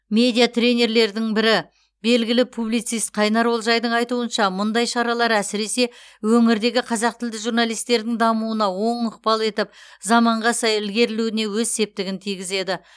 медиа тренерлердің бірі белгілі публицист қайнар олжайдың айтуынша мұндай шаралар әсіресе өңірдегі қазақ тілді журналистердің дамуына оң ықпал етіп заманға сай ілгерлеуіне өз септігін тигізеді